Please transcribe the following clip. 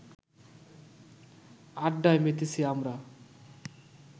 আড্ডায় মেতেছি আমরা